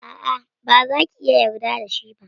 A'a, baza ki iya yarda da shi ba.